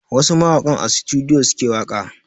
Wasu mawakan a sutudiyo suke waƙa